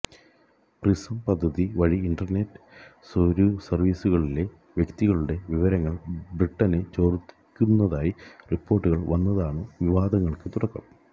prism പദ്ധതി വഴി internet സെര്വറുകളിലെ വ്യക്തികളുടെ വിവരങ്ങള് ബ്രിട്ടണ് ചോര്ത്തുന്നതായി റിപ്പോര്ട്ടുകള് വന്നതാണ് വിവാദങ്ങള്ക്ക് തുടക്കം